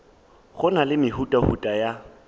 go na le mehutahuta ya